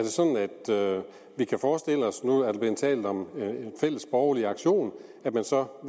vi kan forestille os nu er der blevet talt om en fælles borgerlig aktion at man så